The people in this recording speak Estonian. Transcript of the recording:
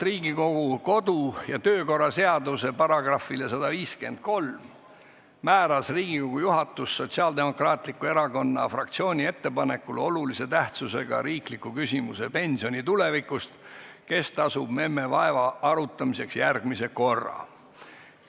Riigikogu kodu- ja töökorra seaduse § 153 kohaselt määras Riigikogu juhatus Sotsiaaldemokraatliku Erakonna fraktsiooni ettepanekul olulise tähtsusega riikliku küsimuse "Pensioni tulevikust – kes tasub memme vaeva?" arutamiseks järgmise korra.